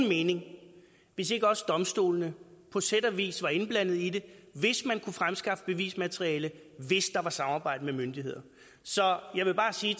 mening hvis ikke også domstolene på sæt og vis var indblandet i det hvis man kunne fremskaffe bevismateriale hvis der var samarbejde med myndigheder så jeg vil bare sige